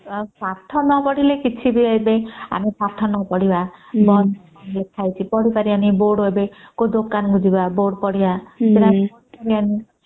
ଆଉ ପାଠ ନ ପଢିଲେ କିଛି ବି ଆମେ ଯଦି ପାଠ ନ ପଢିବା ବହି ରେ କଣ କଣ ଲେଖା ହେଇଛି ପଢି ପାରିବନି ବୋର୍ଡ ଏବେ କୋଉ ଦୋକାନ କୁ ଯିବା ବୋର୍ଡ ପଢିବା ସେତ ପଢି ପାରିବନି